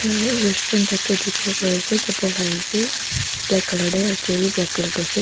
a aru restaurant type de dikhi bo pari ase table ase black color de aro chair b black color de ase.